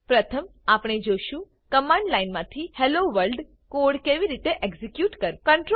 પ્રથમ આપણે જોશું કમાંડ લાઈન માંથી હેલ્લો વર્લ્ડ કોડ કેવી રીતે એક્ઝેક્યુટ કરવો